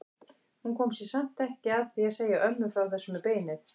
Hún kom sér samt ekki að því að segja ömmu frá þessu með beinið.